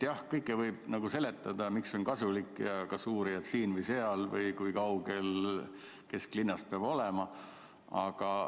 Jah, kõike võib seletada: miks muudatus on kasulik ja kas uurijad peavad töötama siin või seal või kui kaugel kesklinnast peab asutus olema.